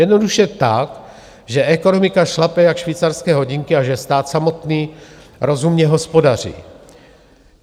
Jednoduše tak, že ekonomika šlape jak švýcarské hodinky a že stát samotný rozumně hospodaří.